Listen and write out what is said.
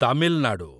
Tamil Nadu